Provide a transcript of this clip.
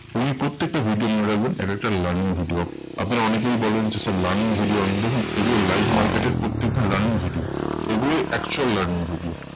ওই প্রত্যেকটা video মনে রাখবেন একেকটা learning video. আপনারা অনেকেই বলেন যে, sir learning video আনুন। দেখুন এগুলো live market এর প্রত্যেকটি learning video. এগুলোই actual learning video.